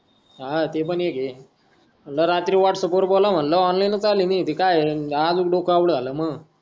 हा ते पण एक आहे मनल रात्री व्हाट्सअँप वर बोलाव मनल ऑनलाईनच आले मी काय हे आज डोक आऊट झाल मंग